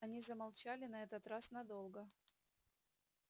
они замолчали на этот раз надолго